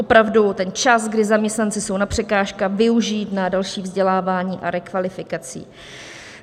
Opravdu ten čas, kdy zaměstnanci jsou na překážkách, využít na další vzdělávání a rekvalifikaci.